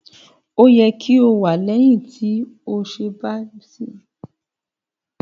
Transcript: Ó yẹ kí o wẹ lẹ́yìn tí ó bá tí ibi iṣẹ tàbí ilé-ìwé dé